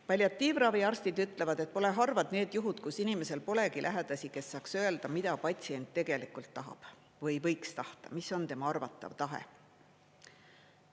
Palliatiivravi arstid ütlevad, et pole harvad need juhud, kus inimesel polegi lähedasi, kes saaks öelda, mida patsient tegelikult tahab või võiks tahta, mis on tema arvatav tahe.